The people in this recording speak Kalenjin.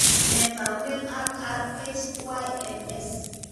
Nee taakunetaab RHYNS?